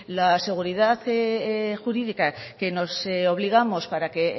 la seguridad jurídica que nos obligamos para que